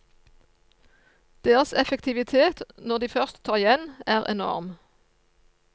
Deres effektivitet når de først tar igjen, er enorm.